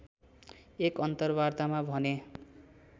एक अन्तरवार्तामा भने